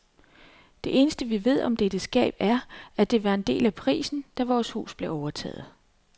Det eneste vi ved om dette skab er, at det var en del af prisen, da vores hus blev overtaget.